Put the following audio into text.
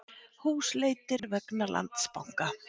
Húsleitir vegna Landsbanka